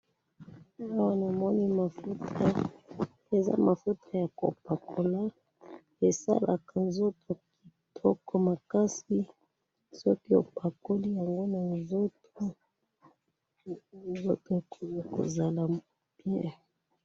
awa na moni mafuta eza mafuta yako pakola esalaka nzoto kitoko makasi soki opakoli yango na nzoto okozala bien